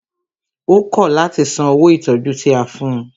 Ó kọ̀ láti san owó ìtọjú tí a fún ùn.